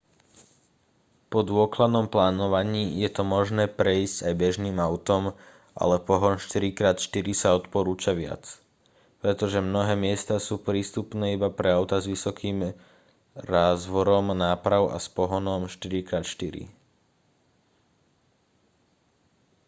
po dôkladnom plánovaní je to možné prejsť aj bežným autom ale pohon 4x4 sa odporúča viac pretože mnohé miesta sú prístupné iba pre autá s vysokým rázvorom náprav a s pohonom 4x4